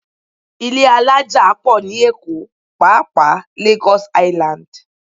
Ilé alájà pọ̀ ní Èkó pàápàá Lagos Island